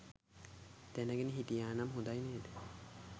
දැනගෙන හිටියනම් හොඳයි නේද